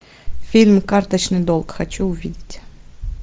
фильм карточный долг хочу увидеть